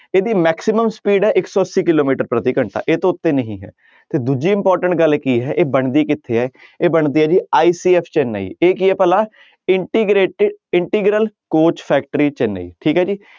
ਇਹਦੀ maximum speed ਹੈ ਇੱਕ ਸੌ ਅੱਸੀ ਕਿੱਲੋਮੀਟਰ ਪ੍ਰਤੀ ਘੰਟਾ ਇਹ ਤੋਂ ਉੱਤੇ ਨਹੀਂ ਤੇ ਦੂਜੀ important ਗੱਲ ਕੀ ਹੈ ਇਹ ਬਣਦੀ ਕਿੱਥੇ ਹੈ ਇਹ ਬਣਦੀ ਹੈ ਜੀ ICF ਚੇਨੰਈ ਇਹ ਕੀ ਹੈ ਭਲਾ ਇੰਟੀਗਰੇਟ~ integral coach factory ਚੇਨੰਈ ਠੀਕ ਹੈ ਜੀ।